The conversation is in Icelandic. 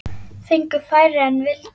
Fengu færri en vildu.